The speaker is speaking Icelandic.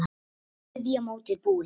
Þá er þriðja mótið búið.